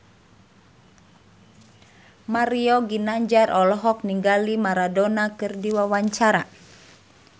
Mario Ginanjar olohok ningali Maradona keur diwawancara